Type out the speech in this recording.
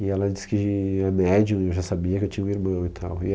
E ela disse que é médium e já sabia que tinha um irmão e tal.